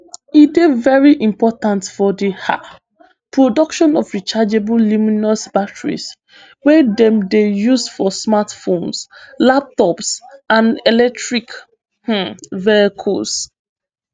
e dey veri important for di um production of rechargeable lithiumion batteries wey dem dey use for smartphones laptops and electric um vehicles